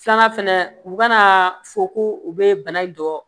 Filanan fɛnɛ u kana fɔ ko u bɛ bana in dɔn